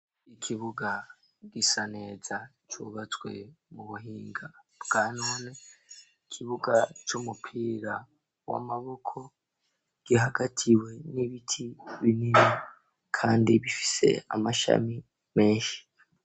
Ikibuga gisa neza c'ubatswe ku buhinga bwa none, ikibuga c'umupira w'amaboko gihagatiwe n'ibiti binini kandi bifise amashami menshi.